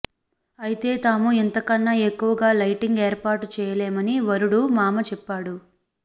అయితే తాము ఇంతకన్నా ఎక్కువగా లైటింగ్ ఏర్పాటు చేయలేమని వరుడి మామ చెప్పాడు